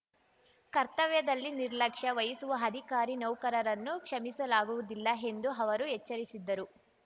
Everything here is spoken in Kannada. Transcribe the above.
ಕರ್ತವ್ಯದಲ್ಲಿ ನಿರ್ಲಕ್ಷ್ಯ ವಹಿಸುವ ಅಧಿಕಾರಿನೌಕರರನ್ನು ಕ್ಷಮಿಸಲಾಗುವುದಿಲ್ಲ ಎಂದೂ ಅವರು ಎಚ್ಚರಿಸಿದ್ದರು